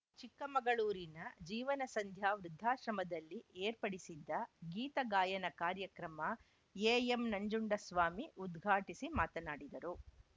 ಚಿಕ್ಕಮಗಳೂರಿನ ಜೀವನಸಂಧ್ಯಾ ವೃದ್ಧಾಶ್ರಮದಲ್ಲಿ ಏರ್ಪಡಿಸಿದ್ದ ಗೀತಗಾಯನ ಕಾರ್ಯಕ್ರಮ ಎಎಂ ನಂಜುಂಡಸ್ವಾಮಿ ಉದ್ಘಾಟಿಸಿ ಮಾತನಾಡಿದರು